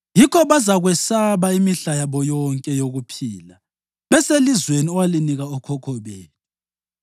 yikho bezakwesaba imihla yabo yonke yokuphila beselizweni owalinika okhokho bethu.